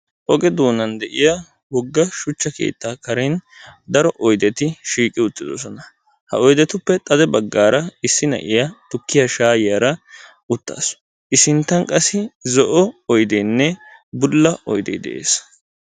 Oge doonan de7iya wogga shuchcha keettaa karen daro oydeti shiiqi uttidosonna. Ha oydetuppe xade baggaara issi na7iya tukki7ya shaayyiyara uttaasu. I sinttan qassi zo7o oydeenne bulla oyidee de7es.